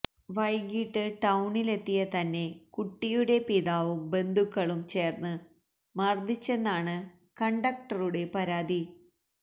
വൈകിട്ട് ടൌണിലെത്തിയ തന്നെ കുട്ടിയുടെ പിതാവും ബന്ധുക്കളും ചേര്ന്ന് മര്ദ്ദിച്ചെന്നാണ് കണ്ടക്ടറുടെ പരാതി